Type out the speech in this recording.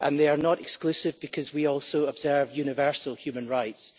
and they are not exclusive because we also observe universal human rights.